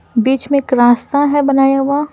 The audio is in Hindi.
बीच में एक रास्ता है बनाया हुआ।